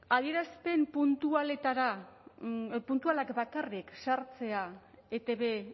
adierazpen puntualetara puntualak bakarrik sartzea etb